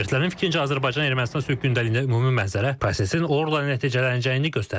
Ekspertlərin fikrincə Azərbaycan-Ermənistan sülh gündəliyində ümumi mənzərə prosesin uğurla nəticələnəcəyini göstərir.